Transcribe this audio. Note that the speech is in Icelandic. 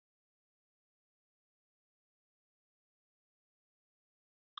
Hrund: Hvert eruð þið að fara?